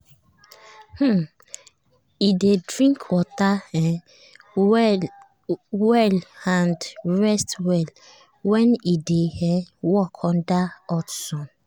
um e dey drink water um well and rest well when e dey um work under hot sun.